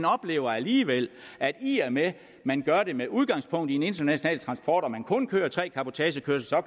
oplever alligevel at i og med at man gør det med udgangspunkt i en international transport og kører tre cabotagekørsler og